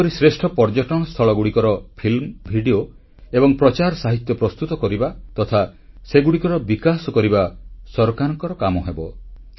ଏହିପରି ଶ୍ରେଷ୍ଠ ପର୍ଯ୍ୟଟନ ସ୍ଥଳଗୁଡ଼ିକର ଫିଲ୍ମ ଭିଡ଼ିଓ ଏବଂ ପ୍ରଚାରସାହିତ୍ୟ ପ୍ରସ୍ତୁତ କରିବା ତଥା ସେଗୁଡ଼ିକର ବିକାଶ କରିବା ସରକାରଙ୍କର କାମ ହେବ